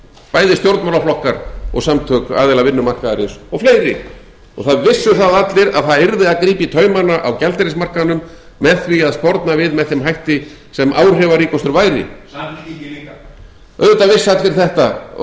bæði stjórnmálaflokkar og samtök aðila vinnumarkaðarins og fleiri það vissu það allir að það yrði að grípa í taumana á gjaldeyrismarkaðnum með því að sporna við með þeim hætti sem áhrifaríkastur væri samfylkingin líka auðvitað vissu allir þetta og